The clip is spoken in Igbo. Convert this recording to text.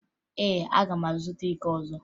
Ee, aga m azụta iko ọzọ